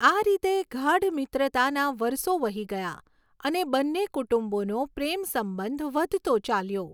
આ રીતે ગાઢ મિત્રતાનાં વરસો વહી ગયાં અને બંને કુટુંબોનો પ્રેમસંબંઘ વધતો ચાલ્યો.